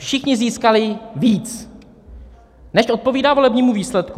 Všichni získali víc, než odpovídá volebnímu výsledku.